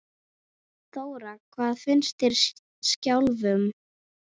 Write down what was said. Þóra: Hvað finnst þér sjálfum?